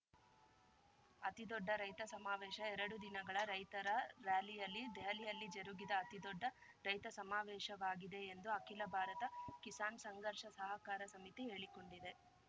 ಅತಿದೊಡ್ಡ ರೈತ ಸಮಾವೇಶ ಎರಡು ದಿನಗಳ ರೈತರ ರಾರ‍ಯಲಿ ದೆಹಲಿಯಲ್ಲಿ ಜರುಗಿದ ಅತಿದೊಡ್ಡ ರೈತ ಸಮಾವೇಶವಾಗಿದೆ ಎಂದು ಅಖಿಲ ಭಾರತ ಕಿಸಾನ್‌ ಸಂಘರ್ಷ ಸಹಕಾರ ಸಮಿತಿ ಹೇಳಿಕೊಂಡಿದೆ